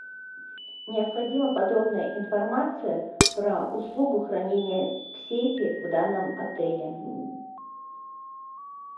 необходима подробная информация про услугу хранения в сейфе в данном отеле